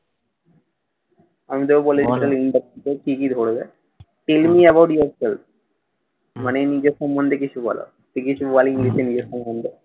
আমি তোকে বলে দিচ্ছি interview এ কী কী ধরবে? telling about yourself মানে নিজের সম্বন্ধে কিছু বলো। তুই কিছু বল english এ নিজের সম্বন্ধে